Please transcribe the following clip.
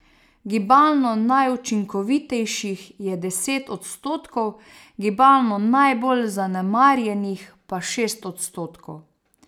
Gibalno najučinkovitejših je deset odstotkov, gibalno najbolj zanemarjenih pa šest odstotkov.